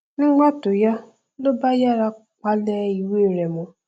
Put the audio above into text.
nígbà tó yá ló bá yára palẹ ìwé rẹ mọ